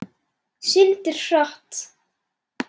Syndir hratt.